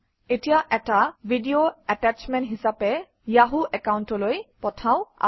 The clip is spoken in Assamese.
এতিয়া এটা ভিডিঅ এটাশ্বমেণ্ট হিচাপে য়াহু একাউণ্টলৈ পঠাওঁ আহক